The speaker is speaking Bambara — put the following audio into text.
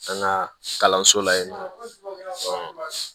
An ka kalanso la yen nɔ